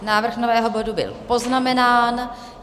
Návrh nového bodu byl poznamenán.